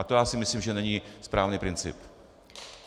A to já si myslím, že není správný princip.